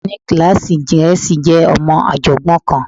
Akẹgbẹ́ mi ní kíláàsì Gẹ̀ẹ́sì jẹ́ ọmọ ọ̀jọ̀gbọ́n kan